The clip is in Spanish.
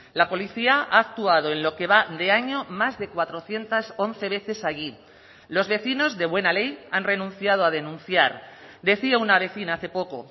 la policía ha actuado en lo que va de año más de cuatrocientos once veces allí los vecinos de buena ley han renunciado a denunciar decía una vecina hace poco